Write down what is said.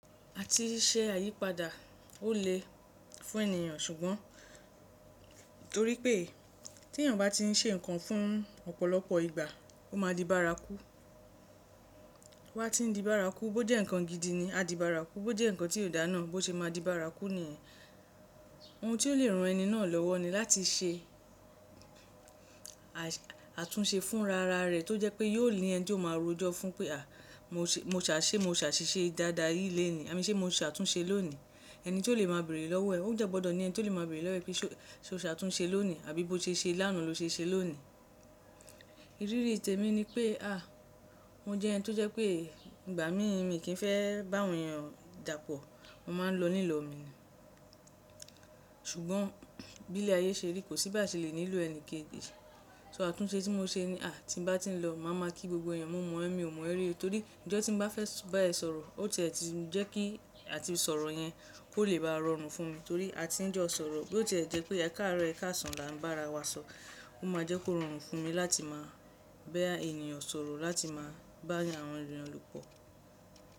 Àti ṣe àyípadà ó lè fún ènìyàn ṣùgbọ́n torí pé tí ènìyàn bá ti ń ṣe ǹkan fún ọ̀pọ̀lọpọ̀ ìgbà ó máa di bárakú. Toba ti n di bárakú, bó jẹ́ nǹkan gídi ni, a di bárakú, bó jẹ́ nǹkan tí kò dá náà bó ṣe máa di bárakú ni yìí. Ohun tí ó lè ran ẹni náà lọ́wọ́ ni láti ṣe àtúnṣe fún ra ra rẹ̀ tó jẹ́ pé yóò ní ẹni tí ó máa rojọ́ fún pé àh, ṣe mo se asise dáadáa yìí léni, i mean ṣe mo ṣàtúnṣe lónìí. Ẹni tí ó lè máa béèrè lọ́wọ́ ẹ̀, ó dẹ́ gbọ́dọ̀ ni ẹni tí ó lè máa béèrè lọ́wọ́ ẹ pé ṣe o ṣàtúnṣe lónìí àbí bó ṣe ṣe lána lo ṣe se lónìí. Riri temi pe ah, mo jẹ ẹni to je pe igbamii mi ki n fẹ ba àwọn eeyan dapọ mo maa n lọ ni ilọ mi ni ṣùgbọ́n bí lé ayé ṣe rí kò sí bi à ṣe lè nílò ẹni kéji. So àtúnṣe tí mo ṣe ni à tí mo bá ti ń lo màá máa kí gbogbo èèyàn, mo mo e mí o mọ è mio mo e rí oo, torí ijo tí mo bá fẹ́ bá ẹ sọ̀rọ̀ ó ti ẹ̀ ti ń jẹ́ kí àti sọ̀rọ̀ yẹn kó lè bá rọrùn fún mi torí a ti ń jọ sọ̀rọ̀ bí ó ti ẹ̀ jẹ́ pé ẹ káàárọ̀ ẹ káàsán la ń bá ara wa sọ, ó máa jẹ́ kó rọrùn fún mi láti máa bá ènìyàn sọ̀rọ̀, láti máa bá àwọn ènìyàn lò pọ̀.